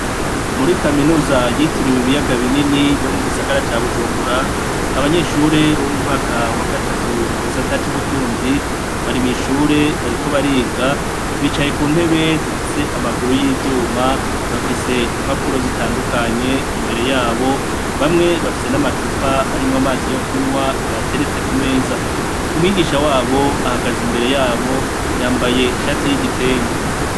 Muri kaminuza yitiriwe ibiyaga binini yo mugisagara ca Bujumbura, abanyeshure bo mu mwaka wa gatatu mu gisata c'ubutunzi bari mwishure bariko bariga bicaye ku ntebe zifise amaguru y'ivyuma. Bafise impapuro zitandukanye, imbere yabo, bamwe bafise n'amacupa arimwo amazi yo kunywa bateretse ku meza. Umwigisha wabo ahagaze imbere yabo yambaye ishati y'igitenge.